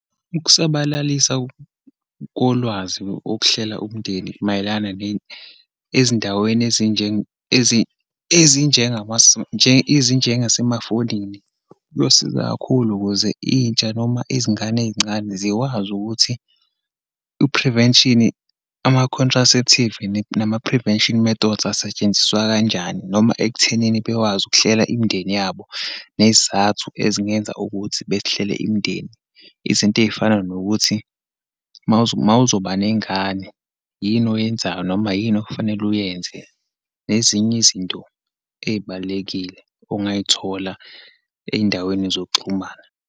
Ukusabalalisa kolwazi wokuhlela umndeni mayelana ne ezindaweni ezinjengasemafonini, kuyosiza kakhulu ukuze intsha, noma izingane eyincane zikwazi ukuthi i-prevention, ama-contraceptive, nama-prevention methods, asetshenziswa kanjani, noma ekuthenini bekwazi ukuhlela imindeni yabo, neyizathu ezingenza ukuthi behlele imindeni. Izinto eyifana nokuthi uma uzoba neyingane, yini oyenzayo, noma yini okufanele uyenze nezinye izinto eyibalulekile, ongayithola eyindaweni zokuxhumana.